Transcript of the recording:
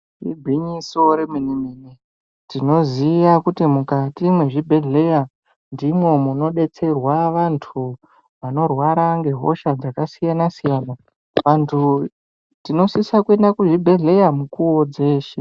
Igwinyiso remene mene tinoziya kuti mukati mezvibhezheya ndimwo munobetserwa vantu vanorwara ngehosha dzakasiyana siyana. Vantu tinosisa kuenda kuzvibhedheya nguva dzose.